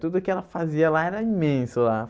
Tudo que ela fazia lá era imenso lá.